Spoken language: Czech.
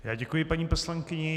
Já děkuji paní poslankyni.